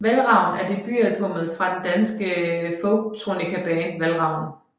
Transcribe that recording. Valravn er debutalbummet fra det danske folktronicaband Valravn